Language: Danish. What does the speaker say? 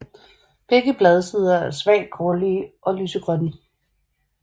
Begge bladsider er svagt grålige og lysegrønne